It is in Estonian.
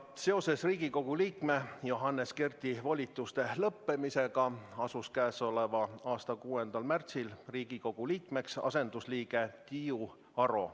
Seoses Riigikogu liikme Johannes Kerdi volituste lõppemisega astus k.a 6. märtsil Riigikogu liikmeks asendusliige Tiiu Aro.